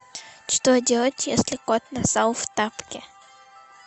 что делать если кот нассал в тапки